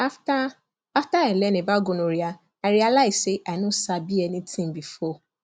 after after i learn about gonorrhea i realize say i no sabi anything before